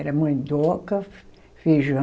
Era mandioca, feijão...